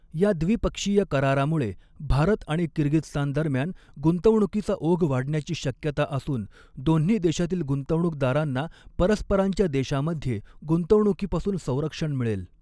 या द्विपक्षीय करारामुळे भारत आणि किर्गिजस्तान दरम्यान गुंतवणुकीचा ओघ वाढण्या़ची शक्यता असून दोन्ही देशातील गुंतवणूकदारांना परस्परांच्या देशांमध्ये गुंतवणूकीपासून संरक्षण मिळेल.